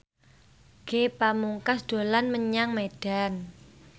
Ge Pamungkas dolan menyang Medan